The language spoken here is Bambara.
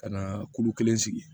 Ka na kulu kelen sigi